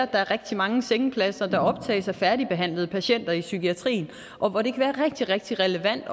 der er rigtig mange sengepladser der optages af færdigbehandlede patienter i psykiatrien og hvor det kan være rigtig rigtig relevant